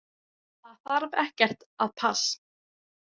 Það þarf ekkert að pass.